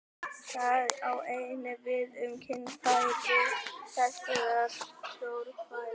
Það á einnig við um kynfæri þessar stórhvela.